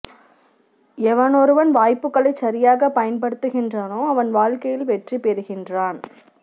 எவனொருவன் வாய்ப்புக்களை சரியாக பயன்படுத்துகின்றானோ அவன் வாழ்க்கையில் வெற்றி பொறுகின்றான்